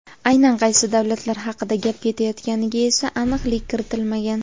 Aynan qaysi davlatlar haqida gap ketayotganiga esa aniqlik kiritilmagan.